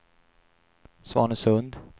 Svanesund